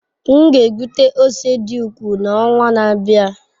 M ga-egbute ose dị ukwuu n'ọnwa na-abịa.